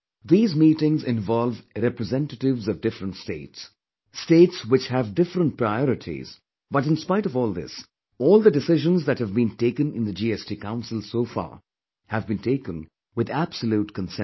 These meetings involve representatives of different states; states which have different priorities, but in spite of all this, all the decisions that have been taken in the GST Council so far have been taken with absolute consensus